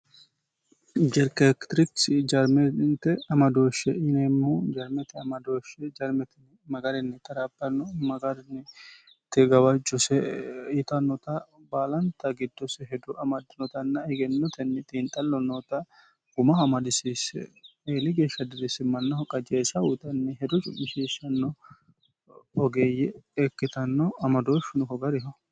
jerkekitirikisi jarmente amadooshshe ineemmu jarmete amadooshshe jarmetini magarinni tarapanno magarnitigawajcuse ixannota baalanta giddose hedo amadtinotanna hegennotenni xiinxallo noota guma hamadisiisse eeli geeshsha dirriissimmannaho qajeesha uuxanni hedo cumisheeshshanno ogeeyye ekkitanno amadoosh finoho gariho